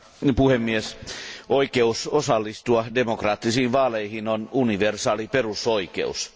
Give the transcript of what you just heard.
Arvoisa puhemies, oikeus osallistua demokraattisiin vaaleihin on universaali perusoikeus.